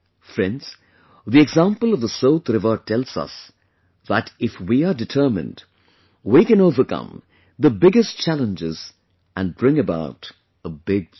Friends, the example of the Sot river tells us that if we are determined, we can overcome the biggest challenges and bring about a big change